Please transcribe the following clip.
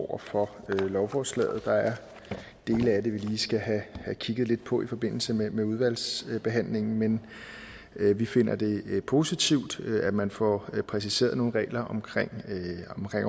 over for lovforslaget der er dele af det vi lige skal have kigget lidt på i forbindelse med udvalgsbehandlingen men vi finder det positivt at man får præciseret nogle regler om